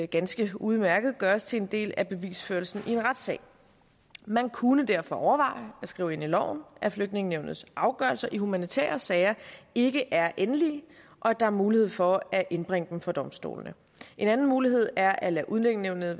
ganske udmærket gøres til en del af bevisførelsen i en retssag man kunne derfor overveje at skrive ind i loven at flygtningenævnets afgørelser i humanitære sager ikke er endelige og at der er mulighed for at indbringe dem for domstolene en anden mulighed er at lade udlændingenævnet